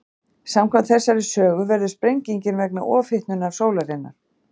Samkvæmt þessari sögu verður sprengingin vegna ofhitnunar sólarinnar.